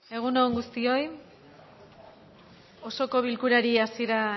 egun on guztioi osoko bilkurari hasiera